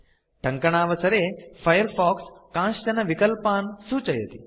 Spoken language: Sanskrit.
टङ्कणावसरे फायरफॉक्स कांश्चन विकल्पान् सूचयति